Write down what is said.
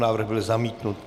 Návrh byl zamítnut.